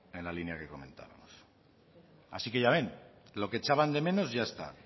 en la línea que comentamos así que ya ven lo que echaban de menos ya está